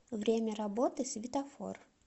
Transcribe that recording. время работы светофор